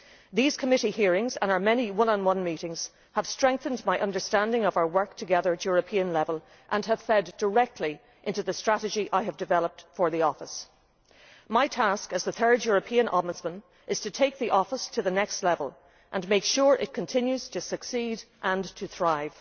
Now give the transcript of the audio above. These committee hearings and our many one on one meetings have strengthened my understanding of our work together at European level and have fed directly into the strategy I have developed for my office. My task as the third European Ombudsman is to take the office to the next level and make sure it continues to succeed and to thrive.